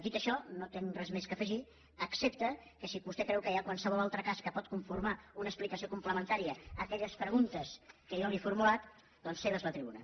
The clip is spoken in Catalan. dit això no tinc res més a afegir excepte que si vostè creu que hi ha qualsevol altre cas que pot conformar una explicació complementària a aquelles preguntes que jo li he formulat doncs seva és la tribuna